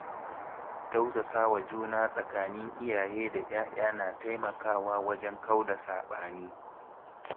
Tausasawa juna tsakanin iyaye da ‘ya‘ya na taimakawa wajen kauda saɓani.